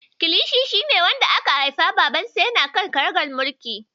Kilishi shi ne yaron da aka haifa babansa yana kan karagar mulki.